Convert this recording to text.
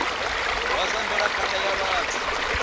wa zwa mvelaphanda ya vhathu